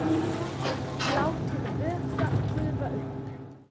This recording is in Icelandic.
Látið vökva gufa upp.